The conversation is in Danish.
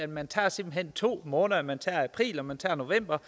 man tager simpelt hen to måneder man tager april og man tager november